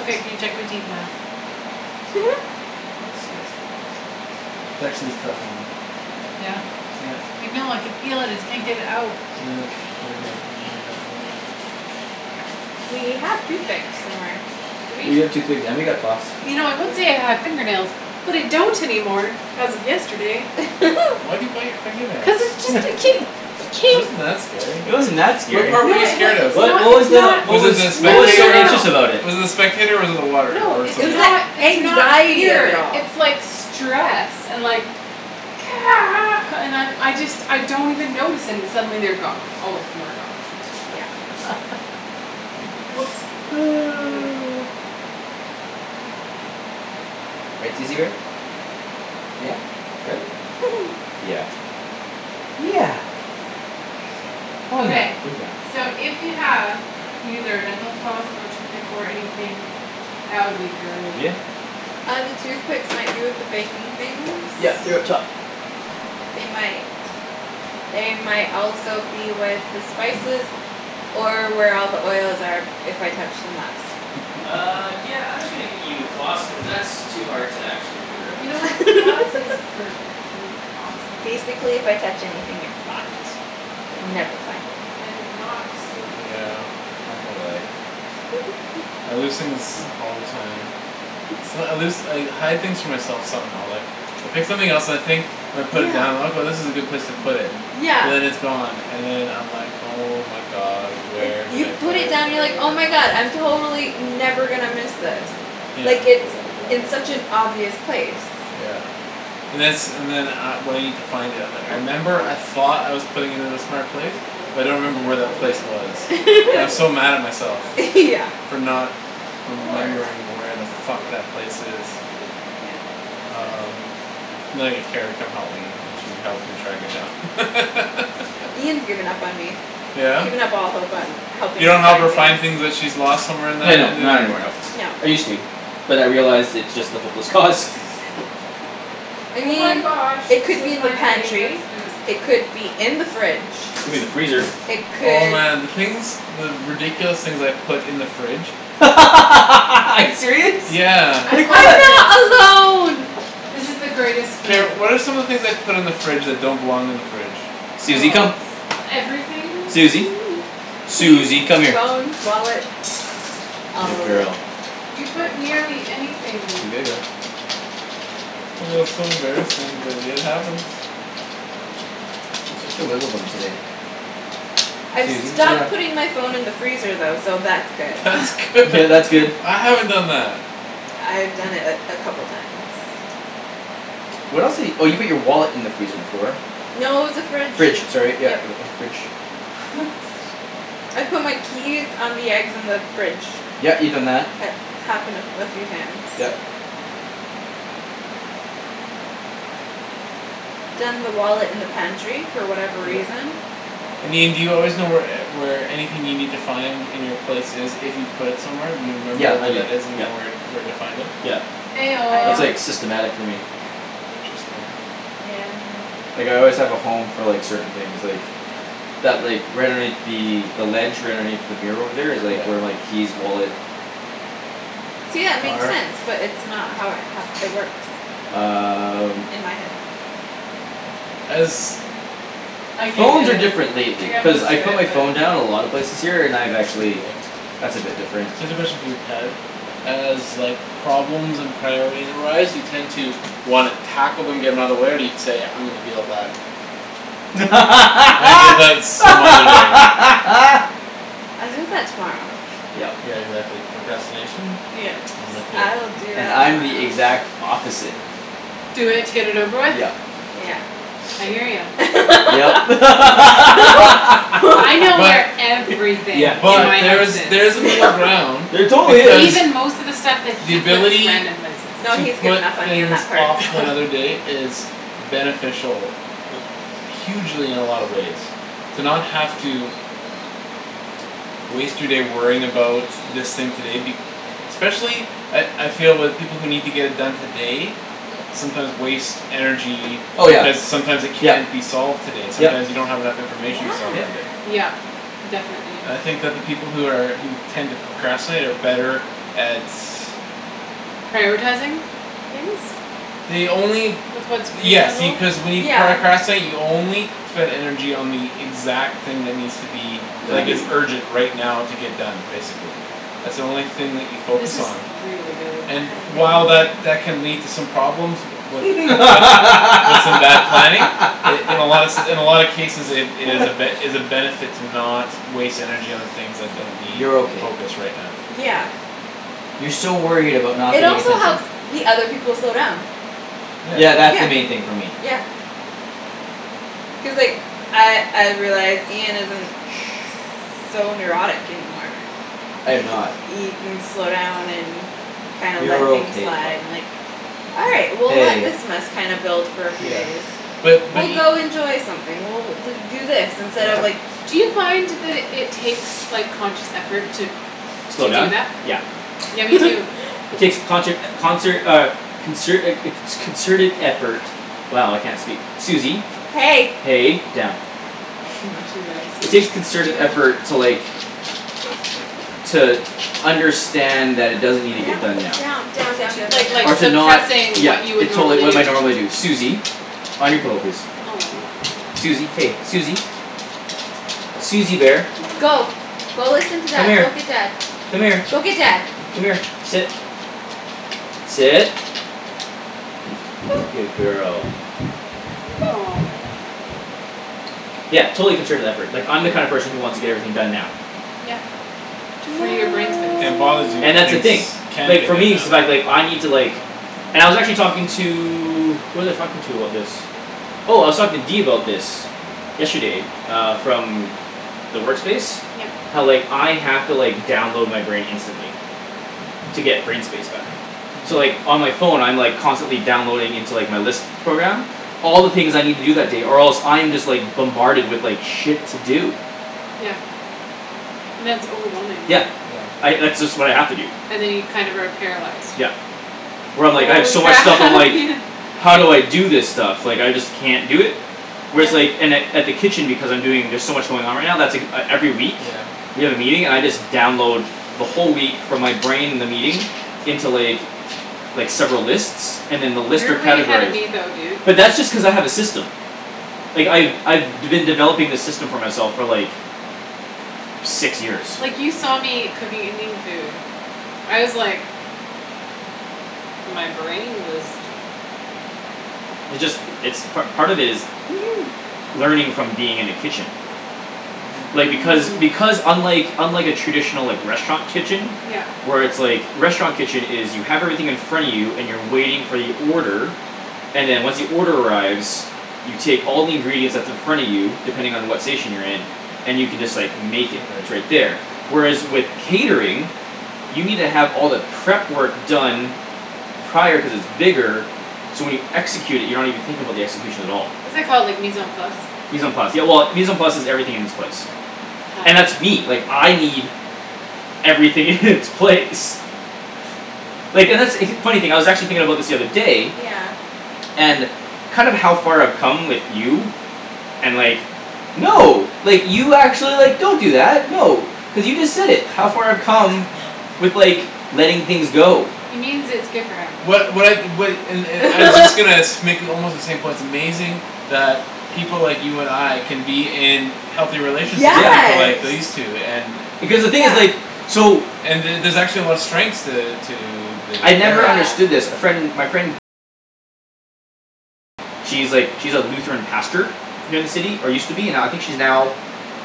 Okay, can you check my teeth now? Disgusting. There's actually stuff in them. Yeah. Yep. I know, I could feel it; just can't get it out. Yeah, over here, right here in that We have toothpicks somewhere, do we? We have toothpicks, and we got floss. You know I would Yeah. say I have fingernails, but I don't anymore as of yesterday. Wh- why do you bite your finger nails? Cuz it just a ke- It ke- wasn't that scary. It wasn't that What scary. part were No, you it wa- scared of? it's What, not, what was it's the, not what Was it was the what No, was no, so no, spectator? no, anxious no. about it? Was it the spectator or was it the water No, or It it's something was else? the not, it's not anxiety of it fear. all. It's like stress and like and I'm, I just, I don't even notice, and suddenly they're gone; all of them are gone. Yeah. W- whoops. Right, Susie bear? Yeah. Right? Yeah. Yeah. Oh, yeah. Okay. So if you have either dental floss or toothpick or anything that would be great. Yeah. Uh, the toothpicks might be with the baking things. Yeah, they're up top. They might They might also be with the spices or where all the oils are if I touched them last. Uh, yeah, I'm just gonna get you floss cuz that's too hard to actually figure out. You know what, floss is perfect and awesome and great. Basically if I touch anything you're fucked. You'll never find it. And I did not just steal a piece of Yeah, chicken off this. I can relate. I lose things all the time. It's not, I lose, I hide things from myself some how, like I pick something else and I think and I put it Yeah. down, "Okay, this is a good place to put it." But Yeah. then it's gone and then I'm like "Oh, my god, Like, where did you I put put And I it it?" have down and no you're idea like, where "Oh, our my floss god, went I'm to. totally never gonna miss this." Hmm. Yeah. Like, it's in such an obvious place. Yeah. And then it's, and then uh when I need to find it I'm like, "I remember I thought I was putting it in a smart place That's cool; but I don't You you've remember may like where have to that aqua place wait. color. You was." may have to wait And I'm so till mad at we're myself done this Yeah. session. for not Or remembering you could where the use a fuck fork. that place is. You could. Yeah. Just don't stab Um yourself too much. And then I get Kara to come help me and she helps me track it K. down. Ian's given up on me. He's Yeah? given up all hope on You helping me don't help her find things. find things that she's lost somewhere in Yeah, that, and no, then not anymore, no. No. I used to. But I realized it's just a hopeless cause. I Oh my mean, gosh, it this could is be in the my favorite pantry. spoon. It could be Could be in the fridge. in the freezer. It Oh, could man, the things the ridiculous things I've put in the fridge. Are you serious? Yeah. I Like love what? this. I'm not alone. This is the greatest Kara, spoon. what are some of the things I've put in the fridge that don't belong in the fridge? Susie, come. Oh, everything. Susie. Keys, Susie, come here. phones, wallets. All Good of it. girl. You put nearly anything. Oh, so embarrassing but it happens. Yeah. You're such a wiggle bum today. I've Susie, lay stopped down. putting my phone in the freezer though, so that's good. That's good. Yeah, that's good. I haven't done that. I've done it a, a couple times. What else di- oh, you put your wallet in the freezer before. No, it was the fridge, Fridge, sorry, yep. yeah, uh, fridge. I've put my keys on the eggs in the fridge. Yeah, you've done that. It's happened a, a few times. Yep. Done the wallet in the pantry for whatever Yeah. reason. I mean, do you always know where e- where anything you need to find in your place is if you put it somewhere? Do you remember Yeah, I where do, that is and you yeah. know where, where to find it? Yeah. Eh I That's, don't. oh. like, systematic for me. Interesting. Yeah, I know. Like, I always have a home for, like, certain things, like that, like, right underneath the the ledge right underneath the mirror over there is, Yeah. like, where my keys, wallet See, yeah, it makes are. sense but it's not how it happ- it works. Um In my head. As I can't Phones get are it. different I lately got cuz most I of put it, my but. phone down a lot of places here, and I've actually That's a Okay. bit different. Cuz especially, for you, Ped as, like problems and priorities arise you tend to wanna tackle them, get 'em outta the way, or do you say "I'm gonna deal with that" "I'm gonna deal with that some other day." I'll do that tomorrow. Yep. Yeah, exactly. Procrastination. Yes, I'm with ya. I'll do And that I'm the tomorrow. exact opposite. Do it to get it over with? Yep. Yeah. I hear ya. Yep. I know But where everything in but my house Yeah, there's, she is. there's a middle No. ground. There totally Cuz is. Even most of the stuff that the he puts ability random places. No, to he's put given up on me on things that part. off to another day is beneficial hugely in a lot of ways to not have to waste your day worrying about this thing today be- especially at, I feel with people who need to get it done today sometimes waste energy Oh, yeah. because sometimes it Yep, can't be solved today. Sometime yep. you don't have enough Yeah. information to solve it Yep. today. Yep, definitely. I think that the people who are, who tend to procrastinate are better at Prioritizing things They only with what's Yes, see, reasonable. cuz when you Yeah. pracrastinate, you only spend energy on the exact thing that needs to be like, Done. is urgent right now to get done, basically. That's the only thing that you focus This is on. really good. And I while know. that that can lead to some problems with, wi- with, with some bad planning in, in a lot se- in a lot of cases it, it is a ben- is a benefit to not waste energy on the things that don't need You're okay. focus right now, so. Yeah. You're so worried about not It getting also attention. helps the other people slow down. Yeah. Yeah, that's the Yeah. main thing for me. Yeah. Cuz, like, I, I've realized Ian isn't Shh. so neurotic anymore. I am It ca- not. he can slow down and kinds let You're things okay, pup. and, like "All right, Yeah. we'll let Hey. this mess kinda build for a few Yeah. days." Shh. But, but "We'll e- go enjoy something, we'll do do this instead of, Yeah. like" Do you find that it, it takes, like, conscious effort to Slow to do down? that? Yeah. Yeah, me too. It takes conshert, concert, uh consert a, a co- concerted effort. Wow, I can't speak. Susie. Hey. Hey, down. She likes It you. takes concerted Yo. effort to, like to understand that it doesn't need to get Down, done now. down, down, down, Do yo- down, down, like, like, Or to down. not, suppressing yeah. what you would It totally, normally what do. my normally do. Susie. On your pillow, please. Aw. Susie, hey, Susie. Susie bear. Go. Go listen to Come dad, go here. get dad. Come here. Go get dad. Come here, sit. Sit. Good girl. Aw. Yeah, totally concerted effort. Like, I'm the kind of Yeah. person who wants to get everything done now. Yeah. To free your No. brain space. And it bothers you when And that's the things thing. can't Like, get for done me now. it's the fact, like, I need to, like And I was actually talking to Who was I talking to about this? Oh, I was talking to D about this. Yesterday, uh, from the work space Yep. how, like, I have to, like, download my brain instantly. To get brain space back. So, Mhm. like, on my phone, I'm, like, constantly downloading into, like, my list program all the things I need to do that day or else I'm just, like bombarded with, like, shit to do. Yeah. And that's overwhelming. Yeah. Yeah. I, that's just what I have to do. And then you kind of are paralyzed. Yep. Where I'm, like, I have Holy so much stuff I'm crap like Ian. "How do I do this stuff? Like I just can't do it." Whereas, Yeah. like, in at, at the kitchen Because I'm doing, there's so much going on right now, that's ek- every week. Yeah. We have a meeting, and I just download the whole week from my brain the meeting into, like like, several lists and then the list You're are way ahead of categorized. me though, dude. But that's just cuz I have a system. Like, I've, I've d- been developing this system for myself for, like six years. Like you saw me cooking Indian food. I was like My brain was It just, it's part, part of it is learning from being in a kitchen. Mhm. Like, because, Hmm. because unlike unlike a traditional, like, restaurant kitchen Yep. where it's, like, a restaurant kitchen is you have everything in front of you and you're waiting for your order and then once the order arrives you take all the ingredients that's in front of you depending on what station you're in and you can just, like, make it, it's right Right. there. Whereas with catering you need to have all the prep work done prior cuz it's bigger so when you execute it, you're not even thinking about the execution at all. What's that called, like, mise en place? Mise en place, yeah, well, mise en place is "everything in its place." Huh. And that's me. Like, I need everything in its place. Like, and that's, funny thing I was actually thinking about this the other day Yeah. and kind of how far I've come with you and like, no like, you actually, like, don't do that. No, cuz you just said it, how far I've come with, like, letting things go. He means its good for him. What, what I, what, and, and I was just gonna sh- make almost the same point; it's amazing that people like you and I can be in healthy relationships with people like Yeah. Yes, these two and Because the thing is, yeah. like so and the- there's actually a lot of strengths to, to the I'd never pairing. Yeah. understood this. A friend, my friend she's, like, she's a Lutheran pastor here in the city, or used to be, now, I think she's now